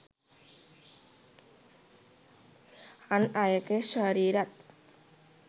අන් අයගේ ශරීරත්